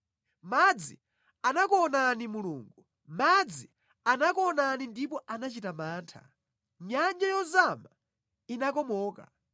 Madzi anakuonani Mulungu, madzi anakuonani ndipo anachita mantha; nyanja yozama inakomoka.